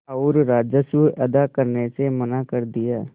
और राजस्व अदा करने से मना कर दिया